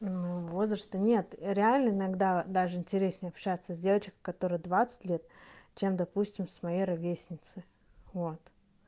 ну возраста нет реально иногда даже интереснее общаться с девочкой которой двадцать лет чем допустим с моей ровесницей вот